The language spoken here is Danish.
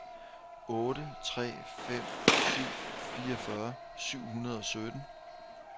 otte tre fem syv fireogfyrre syv hundrede og sytten